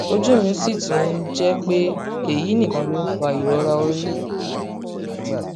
ojú mi sì tún ń jẹ ń jẹ pé èyí nìkan ló ń fa ìrora orí